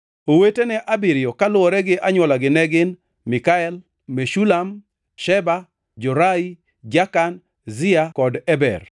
Owetene abiriyo kaluwore gi anywolagi ne gin: Mikael, Meshulam, Sheba, Jorai, Jakan, Zia kod Eber.